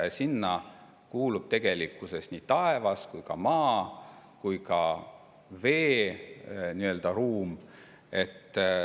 Ning sinna kuulub tegelikkuses nii taevas kui ka maa kui ka vee nii-öelda ruum.